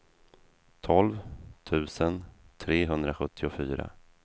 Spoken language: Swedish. tolv tusen trehundrasjuttiofyra